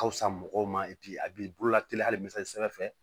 Ka fisa mɔgɔw ma a b'i bolola teliya hali